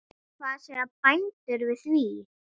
Hvað segja bændur við því?